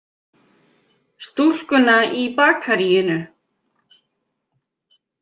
Stúlkuna í bakaríinu.